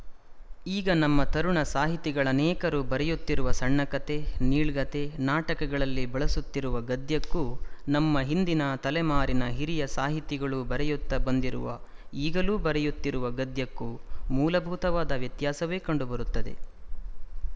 ಈಗ ನಮ್ಮ ತರುಣ ಸಾಹಿತಿಗಳನೇಕರು ಬರೆಯುತ್ತಿರುವ ಸಣ್ಣಕತೆ ನೀಳ್ಗತೆ ನಾಟಕಗಳಲ್ಲಿ ಬಳಸುತ್ತಿರುವ ಗದ್ಯಕ್ಕೂ ನಮ್ಮ ಹಿಂದಿನ ತಲೆಮಾರಿನ ಹಿರಿಯ ಸಾಹಿತಿಗಳು ಬರೆಯುತ್ತ ಬಂದಿರುವ ಈಗಲೂ ಬರೆಯುತ್ತಿರುವ ಗದ್ಯಕ್ಕೂ ಮೂಲಭೂತವಾದ ವ್ಯತ್ಯಾಸವೇ ಕಂಡುಬರುತ್ತದೆ